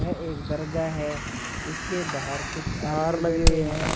यह एक दरगाह है इसके बाहर कुछ लगे हुए हैं।